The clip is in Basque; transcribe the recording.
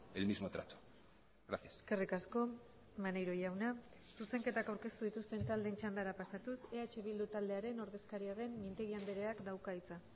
el mismo trato gracias eskerrik asko maneiro jauna zuzenketak aurkeztu dituzten taldeen txandara pasatuz eh bildu taldearen ordezkaria den mintegi andreak dauka hitza